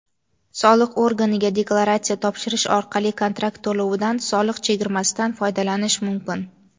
Soliq organiga deklaratsiya topshirish orqali kontrakt to‘lovida soliq chegirmasidan foydalanish mumkin.